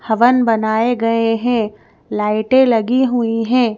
हवन बनाए गए हैं लाइटे लगी हुई है।